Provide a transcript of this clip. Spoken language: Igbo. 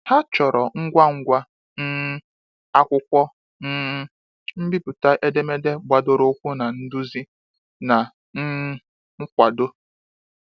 Ha chọrọ ngwa ngwa um akwụkwọ um mbipụta edemede gbadoro ụkwụ na nduzi, na um nkwado.